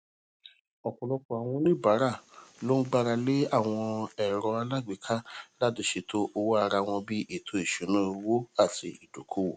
ọpọlọpọ àwọn oníbàárà ló gbára lé àwọn ẹrọ alágbèéká láti ṣètò owó ara wọn bí ètò ìṣúnáowó àti ìdókowò